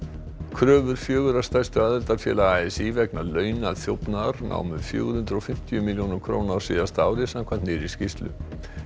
kröfur fjögurra stærstu aðildarfélaga a s í vegna námu fjögur hundruð og fimmtíu milljónum króna á síðasta ári samkvæmt nýrri skýrslu